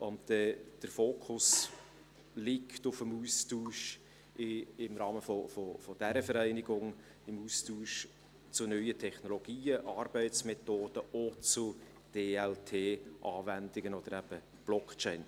Der Fokus liegt im Rahmen dieser Vereinigung auf dem Austausch zu neuen Technologien, Arbeitsmethoden und zu DLT-Anwendungen oder eben Blockchain.